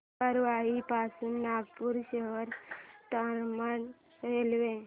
गोबरवाही पासून नागपूर शहर दरम्यान रेल्वे